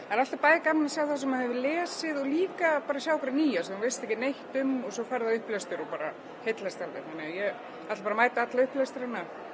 það er alltaf bæði gaman að sjá það sem maður hefur lesið en líka nýja sem veit ekkert um fer á upplestur og heillast alveg þannig að ég ætla bara að mæta á alla upplestra